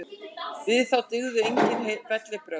Við þá dygðu enginn bellibrögð.